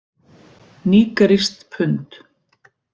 Nígerískt pund.